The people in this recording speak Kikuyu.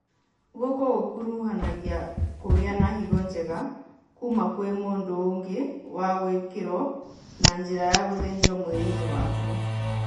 Gũkũ gũkuruhanagia kũgĩa na higo njega kuma kwĩ mũndũ ũngĩ na gwĩkĩrwo na njĩra ya gũthĩnjwo mwĩrĩ-inĩ waku